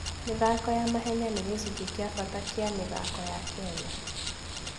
mĩthako ya mahenya nĩ gĩcunjĩ kĩa bata kĩa mĩthako ya Kenya.